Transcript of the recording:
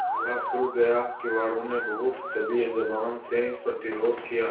ताला खुल गया किवाड़ो ने बहुत दबी जबान से प्रतिरोध किया